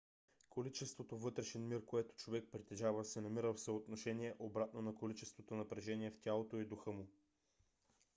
количеството вътрешен мир което човек притежава се намира в съотношение обратно на количеството напрежение в тялото и духа му